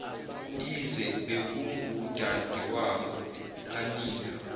yize bekungudadewabo kanina